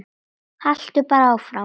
Haltu bara áfram.